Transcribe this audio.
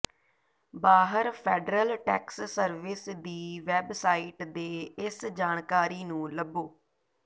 ਬਾਹਰ federal tax service ਦੀ website ਤੇ ਇਸ ਜਾਣਕਾਰੀ ਨੂੰ ਲੱਭੋ